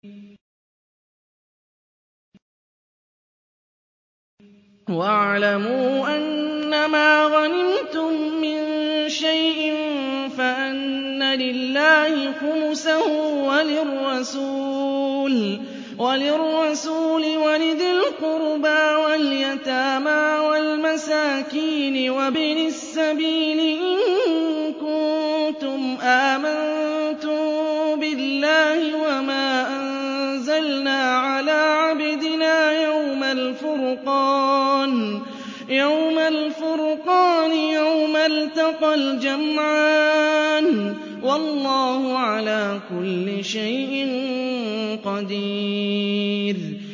۞ وَاعْلَمُوا أَنَّمَا غَنِمْتُم مِّن شَيْءٍ فَأَنَّ لِلَّهِ خُمُسَهُ وَلِلرَّسُولِ وَلِذِي الْقُرْبَىٰ وَالْيَتَامَىٰ وَالْمَسَاكِينِ وَابْنِ السَّبِيلِ إِن كُنتُمْ آمَنتُم بِاللَّهِ وَمَا أَنزَلْنَا عَلَىٰ عَبْدِنَا يَوْمَ الْفُرْقَانِ يَوْمَ الْتَقَى الْجَمْعَانِ ۗ وَاللَّهُ عَلَىٰ كُلِّ شَيْءٍ قَدِيرٌ